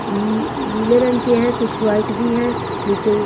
नी नीले रंग के हैं कुछ व्हाइट भी है नीचे--